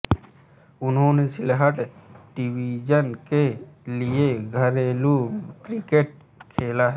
उन्होंने सिलहट डिवीजन के लिए घरेलू क्रिकेट खेला है